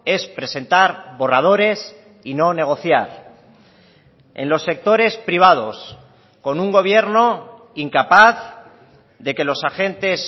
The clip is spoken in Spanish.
es presentar borradores y no negociar en los sectores privados con un gobierno incapaz de que los agentes